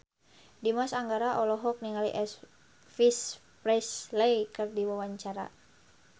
Dimas Anggara olohok ningali Elvis Presley keur diwawancara